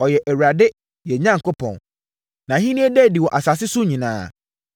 Ɔyɛ Awurade, yɛn Onyankopɔn; nʼahennie da adi wɔ asase so nyinaa.